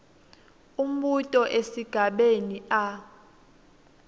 umbuto esigabeni a